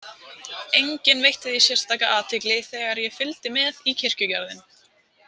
Enginn veitti því sérstaka athygli þegar ég fylgdi með í kirkjugarðinn.